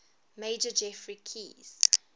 major geoffrey keyes